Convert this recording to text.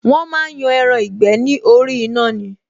Wọn máa ń yan ẹran ìgbẹ́ ni orí iná ni